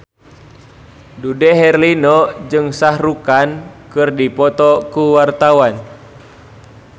Dude Herlino jeung Shah Rukh Khan keur dipoto ku wartawan